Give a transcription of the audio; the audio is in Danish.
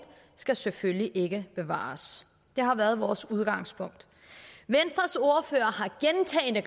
skal selvfølgelig ikke bevares det har været vores udgangspunkt venstres ordfører